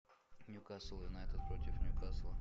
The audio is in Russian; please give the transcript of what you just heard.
ньюкасл юнайтед против ньюкасла